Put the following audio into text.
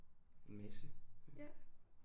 En masse